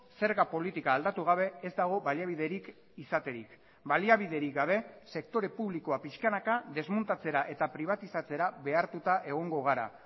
zerga politika aldatu gabe ezdago baliabiderik izaterik baliabiderik gabe sektore publikoa pixkanaka desmontatzera eta pribatizatzera behartuta egongo gara